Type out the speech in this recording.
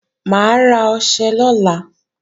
Mà á ra ọṣẹ lọ́la